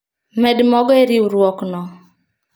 Med mogo e riurwok no